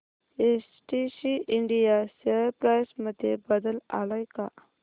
STC India share price मध्ये बदल आलाय का